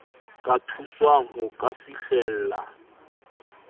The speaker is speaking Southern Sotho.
ka thuswang ho ka fihlella